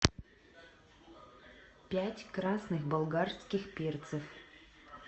пять красных болгарских перцев